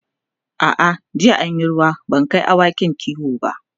a'a jiya an Yi ruwa ban Kai awakin kiwo ba